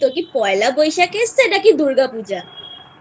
তোর কি পয়লা বৈশাখ এসেছে নাকি দুর্গাপূজা?